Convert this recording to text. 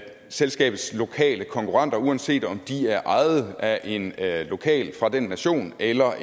selskabets lokale konkurrenter uanset om de er ejet af en lokal fra den nation eller